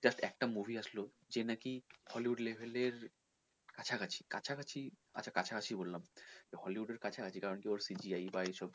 just একটা movie আসলো যে নাকি hollywood level এর কাছাকাছি, কাছাকাছি মানে হ্যাঁ কাছাকাছি বললাম তো hollywood এর কাছাকাছি কারন কি তোর এই CGI এইসব